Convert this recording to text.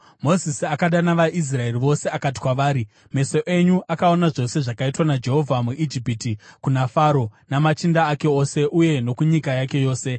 Mozisi akadana vaIsraeri vose akati kwavari: Meso enyu akaona zvose zvakaitwa naJehovha muIjipiti kuna Faro, namachinda ake ose uye nokunyika yake yose.